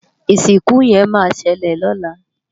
Isinku yen ma sele lola